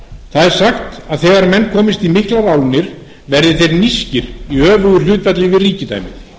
sagt er að þegar menn komist í miklar álnir verði þeir nískir í öfugu hlutfalli við ríkidæmið